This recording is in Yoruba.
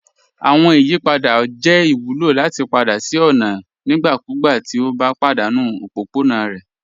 Awọn ìyìpadà U jẹ ìwùlọ lati padà sí ọ̀na nígbàkúgbà ti o bá padanu òpópọ̀na rẹ.